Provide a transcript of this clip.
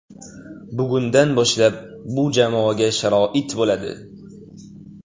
Bugundan boshlab bu jamoaga sharoit bo‘ladi.